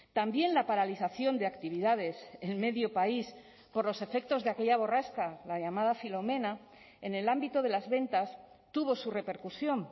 también la paralización de actividades en medio país por los efectos de aquella borrasca la llamada filomena en el ámbito de las ventas tuvo su repercusión